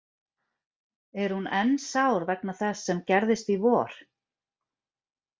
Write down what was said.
Er hún enn sár vegna þess sem gerðist í vor?